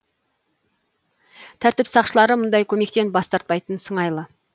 тәртіп сақшылары мұндай көмектен бас тартпайтын сыңайлы